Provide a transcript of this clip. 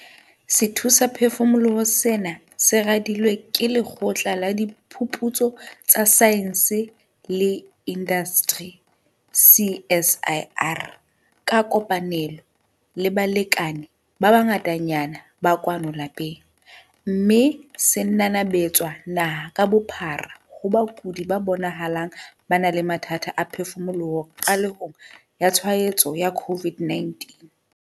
Sethusaphefumoloho sena se radilwe ke Lekgotla la Diphuputso tsa Saense le Indasteri CSIR ka kopanelo le balekane ba bangatanyana ba kwano lapeng, mme se nanabetswa naha ka bophara ho bakudi ba bonahalang ba na le mathata a phefumoloho qalehong ya tshwaetso ya COVID-19.